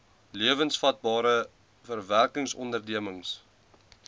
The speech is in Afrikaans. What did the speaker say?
lewensvatbare agri verwerkingsondernemings